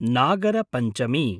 Nagarapanchami